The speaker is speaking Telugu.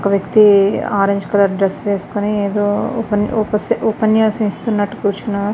ఒక వక్తి ఆరంగే కలర్ డ్రెస్ వేసోకొని కోరుచునాడు. ఉపన్యాసం ఇస్తున్నట్టు కూర్చున్నాడు.